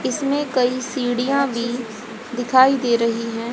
इसमें कई सीढ़ियां भी दिखाई दे रही है।